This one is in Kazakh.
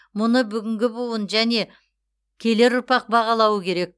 мұны бүгінгі буын және келер ұрпақ бағалауы керек